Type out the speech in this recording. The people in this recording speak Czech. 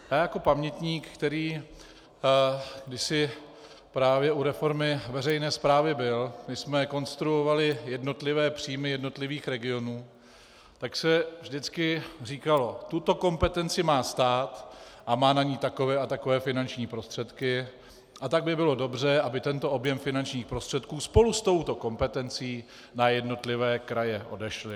Já jako pamětník, který kdysi právě u reformy veřejné správy byl, když jsme konstruovali jednotlivé příjmy jednotlivých regionů, tak se vždycky říkalo: tuto kompetenci má stát a má na ni takové a takové finanční prostředky, a tak by bylo dobře, aby tento objem finančních prostředků spolu s touto kompetencí na jednotlivé kraje odešly.